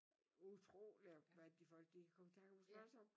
Utroligt hvad de folk de kan komme i tanke om at slås om